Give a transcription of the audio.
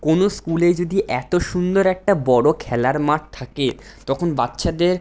কোনো স্কুলে যদি এতো সুন্দর একটা বড় খেলার মাঠ থাকে তখন বাচ্চাদের।